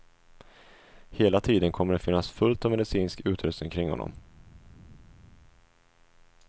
Hela tiden kommer det att finnas fullt av medicinsk utrustning kring honom.